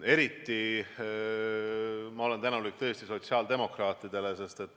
Eriti olen ma tänulik sotsiaaldemokraatidele.